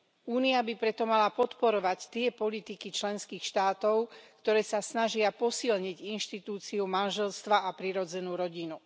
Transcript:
Únia by preto mala podporovať tie politiky členských štátov, ktoré sa snažia posilniť inštitúciu manželstva a prirodzenú rodinu.